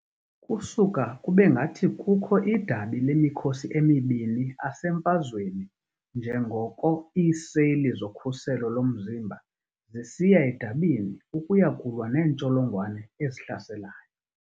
Kusuka kube ngathi kukho idabi lemikhosi emibini asemfazweni njengoko iiseli zokhuselo lomzimba zisiya edabini ukuya kulwa neentsholongwane ezihlaselayo.